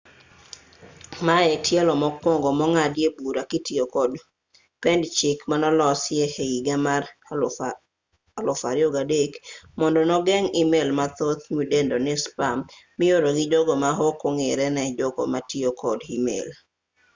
ma e tielo mokwongo mong'adie bura kitiyo kod pend chik manolosi e higa mar 2003 mondo nogeng' email mathoth midendo ni spam mioro gi jogo ma ok ong'ere ne jogo matiyo kod email